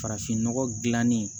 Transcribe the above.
Farafinnɔgɔ gilanni